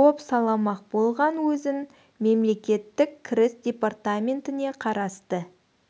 бопсаламақ болған өзін мемлекеттік кіріс депатраментіне қарасты